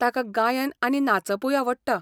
ताका गायन आनी नाचपूय आवडटा.